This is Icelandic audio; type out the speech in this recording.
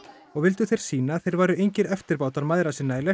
og vildu þeir sýna að þeir væru engir eftirbátar mæðra sinna í lestri